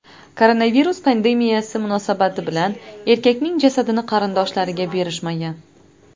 Koronavirus pandemiyasi munosabati bilan erkakning jasadini qarindoshlariga berishmagan.